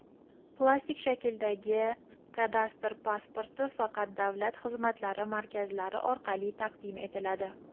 plastik shakldagi kadastr pasporti faqat Davlat xizmatlari markazlari orqali taqdim etiladi.